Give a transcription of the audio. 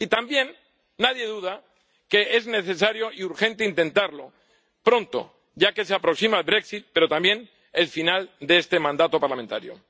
Y tampoco duda nadie de que es necesario y urgente intentarlo pronto, ya que se aproxima el brexit pero también el final de este mandato parlamentario.